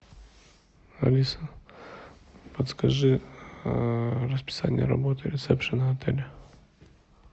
алиса подскажи расписание работы ресепшена отеля